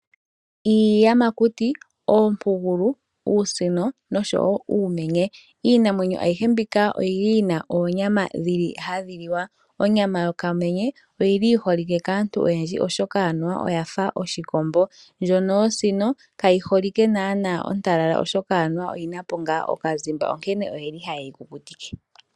Iiyamakuti, oompugulu, uusino noshowo uumenye. Iiyamakuti ayihe mbika oyi li yi na oonyama dhili hadhi liwa, onyama yokamenye oyili yi holike kaantu oyendji oshoka anuwa oya fa yoshikombo ndjono yosino kayi holike naana ontalala oshoka oyi na po okazima nonkene oyeli haye yi kukutike.